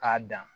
K'a dan